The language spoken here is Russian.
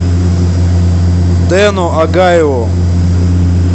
дэну агаеву